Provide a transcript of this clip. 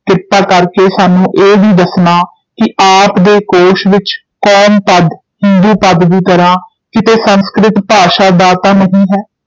ਕ੍ਰਿਪਾ ਕਰ ਕੇ ਸਾਨੂੰ ਇਹ ਵੀ ਦੱਸਣਾ ਕਿ ਆਪ ਦੇ ਕੋਸ਼ ਵਿਚ ਕੌਮ ਪਦ, ਹਿੰਦੂ ਪਦ ਦੀ ਤਰ੍ਹਾਂ ਕਿਤੇ ਸੰਸਕ੍ਰਿਤ ਭਾਸ਼ਾ ਦਾ ਤਾਂ ਨਹੀਂ ਹੈ।